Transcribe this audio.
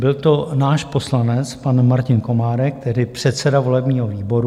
Byl to náš poslanec, pan Martin Komárek, tehdy předseda volebního výboru.